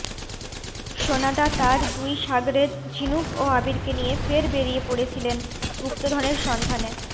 সোনাদা তাঁর দুই সাগরেদ ঝিনুক ও আবীরকে নিয়ে ফের বেড়িয়ে পড়েছিলেন গুপ্তধনের সন্ধানে